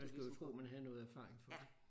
Man skulle tro man havde noget erfaring for det